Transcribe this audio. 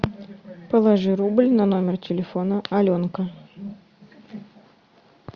положи рубль на номер телефона аленка